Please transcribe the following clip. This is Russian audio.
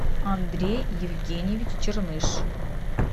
андрей евгеньевич черныш